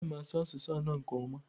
Ana m asụ asụsụ anọ nke ọma